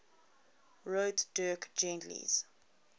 wrote dirk gently's